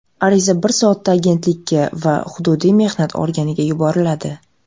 Ariza bir soatda agentlikka va hududiy mehnat organiga yuboriladi.